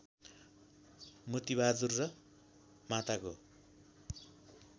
मोतिबहादुर र माताको